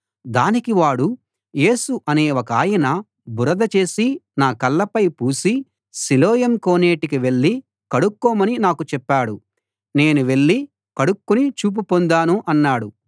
దానికి వాడు యేసు అనే ఒకాయన బురద చేసి నా కళ్లపై పూసి సిలోయం కోనేటికి వెళ్ళి కడుక్కోమని నాకు చెప్పాడు నేను వెళ్ళి కడుక్కుని చూపు పొందాను అన్నాడు